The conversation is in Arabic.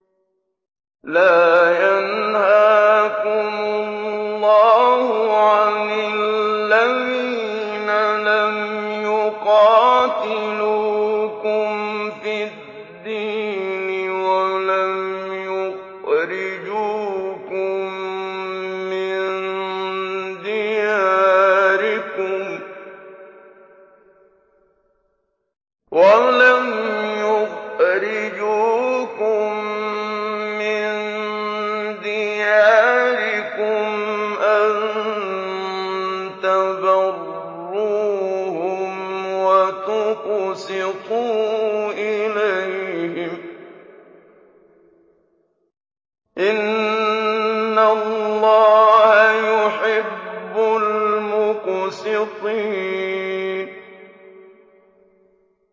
لَّا يَنْهَاكُمُ اللَّهُ عَنِ الَّذِينَ لَمْ يُقَاتِلُوكُمْ فِي الدِّينِ وَلَمْ يُخْرِجُوكُم مِّن دِيَارِكُمْ أَن تَبَرُّوهُمْ وَتُقْسِطُوا إِلَيْهِمْ ۚ إِنَّ اللَّهَ يُحِبُّ الْمُقْسِطِينَ